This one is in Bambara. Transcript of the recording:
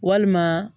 Walima